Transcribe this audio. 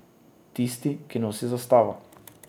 Tisti, ki nosi zastavo.